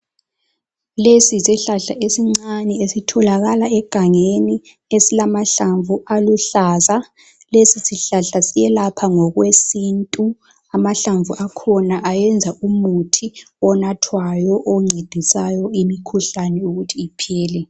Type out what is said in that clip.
Lesiyisihlahla esincane esitholakala egangeni. Esilamahlamvu aluhlaza lesi sihlahla siyelapha ngokwesintu. Amahlamvu akhona ayenza umuthi onathwayo oncedisayo imikhuhlane ukuthi iphele.